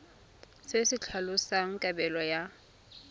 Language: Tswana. se se tlhalosang kabelo ya